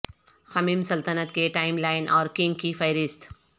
خمیم سلطنت کے timeline اور کنگ کی فہرست